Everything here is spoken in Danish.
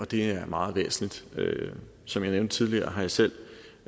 det er meget væsentligt som jeg nævnte tidligere har jeg selv